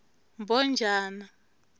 mbhojana